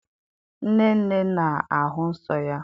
Nnenne na-ahụ nsọ ya.